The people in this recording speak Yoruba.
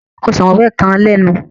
Ọsàn wẹ́wẹ́ kan lénu.